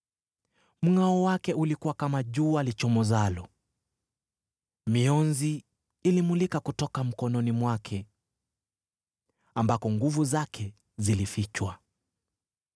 Mngʼao wake ulikuwa kama jua lichomozalo; mionzi ilimulika kutoka mkononi mwake, ambako nguvu zake zilifichwa.